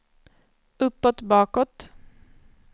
uppåt bakåt